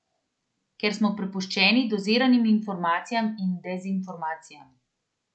Ker smo prepuščeni doziranim informacijam in dezinformacijam.